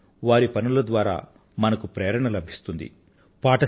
కానీ వారి పనుల ద్వారా మనకు ప్రేరణ లభిస్తుంది